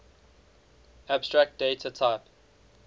abstract data type